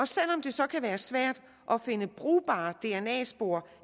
selv om det så kan være svært at finde brugbare dna spor